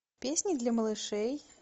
песни для малышей